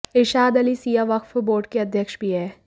इरशाद Ali Shia Waqf board के अध्यक्ष भी हैं